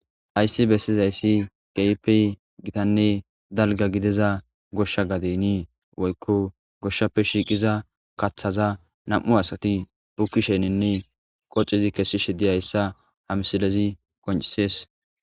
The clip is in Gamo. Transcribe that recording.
Hayssi bessizayssi keehippe giittanne dalgga gidiza gooshsha gadde nii woykko gooshshappe kaththaza nam'u asati buukisheninne qooxidi kesishe dizayssatta ha misilezii qonccises